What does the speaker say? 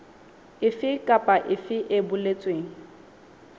efe kapa efe e boletsweng